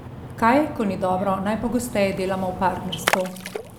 Kaj, ko ni dobro, najpogosteje delamo v partnerstvu?